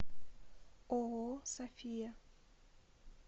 ооо софия